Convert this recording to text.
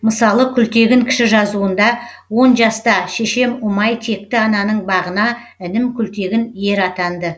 мысалы күлтегін кіші жазуында он жаста шешем ұмай текті ананың бағына інім күлтегін ер атанды